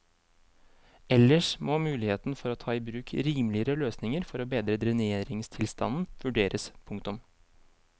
Ellers må muligheten for å ta i bruk rimeligere løsninger for å bedre dreneringstilstanden vurderes. punktum